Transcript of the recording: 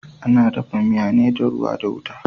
Ana dafa miya ne da ruwa da wuta.